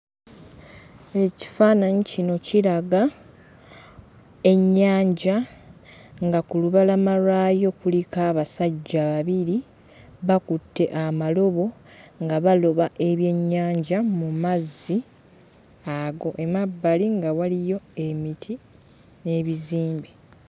Ekifaananyi kino kiraga ennyanja nga ku lubalama lwayo kuliko abasajja babiri bakutte amalobo nga baloba ebyennyanja mu mazzi ago. Emabbali nga waliyo emiti n'ebizimbe.